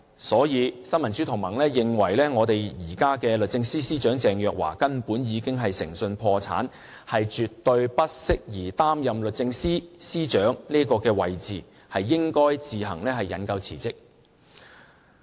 所以，新民主同盟認為現任律政司司長鄭若驊根本已經誠信破產，絕對不適宜擔任律政司司長的位置，應該自行引咎辭職。